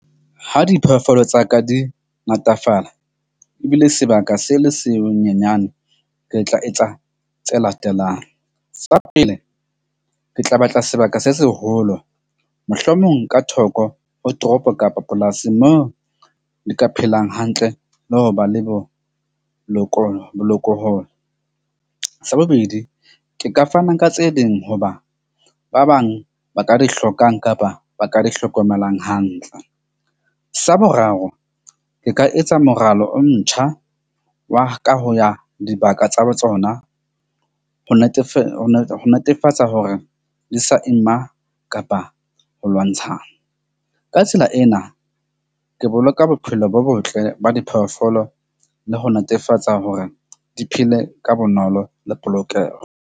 Ha diphoofolo tsa ka di natafala ebile sebaka se le se nyenyane. Ke tla etsa tse latelang sa pele, ke tla batla sebaka se seholo, mohlomong ka thoko ho toropo kapa polasing moo di ka phelang hantle le ho ba le bo boko . Sa bobedi, ke ka fana ka tse ding hoba ba bang ba ka di hlokang kapa ba ka di hlokomelang hantle. Sa boraro ke ka etsa moralo o ntjha wa ka ho ya dibaka tsa ho tsona, ho netefatsa hore di sa ima kapa ho lwantshana. Ka tsela ena ke boloka bophelo bo botle ba diphoofolo le ho netefatsa hore di phele ka bonolo le polokeho.